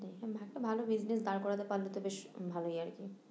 ভালো business দাঁড় করাতে পারলে তো বেশ ভালোই আর কি